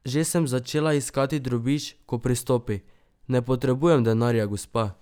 Že sem začela iskati drobiž, ko pristopi: "Ne potrebujem denarja, gospa.